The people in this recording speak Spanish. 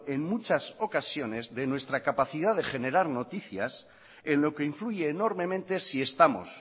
en muchas ocasiones de nuestra capacidad de generar noticias en lo que influye enormemente si estamos